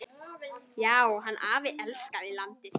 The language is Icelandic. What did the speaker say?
Já, hann afi elskaði landið.